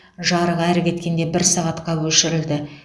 жарық әрі кеткенде бір сағатқа өшірілді